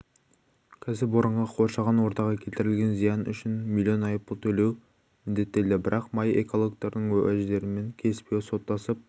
кәсіпорынға қоршаған ортаға келтірген зиян үшін млн айыппұл төлеу міндеттелді бірақ май экологтардың уәждерімен келіспей соттасып